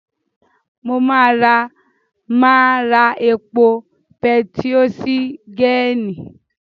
Mo máa ra máa ra epo pẹtió sí gẹ́ẹ́nì.